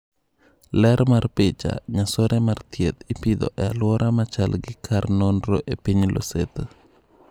Ler mar picha, nyasore mar thieth ipidho e aluora machal gi kar nonro e piny Lesotho.